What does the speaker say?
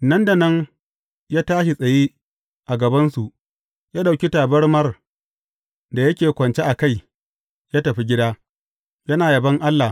Nan da nan, ya tashi tsaye a gabansu, ya ɗauki tabarmar da yake kwance a kai, ya tafi gida, yana yabon Allah.